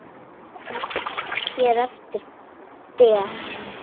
Nefnd hér eftir: Der